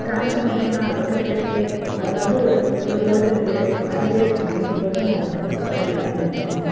transformation ஆ இருக்கும் அது வந்து ஒரு golden period பாதி பேருக்கு ninety percent அப்படி தான் எல்லாரும் நினைச்சுப்போம் இல்லையா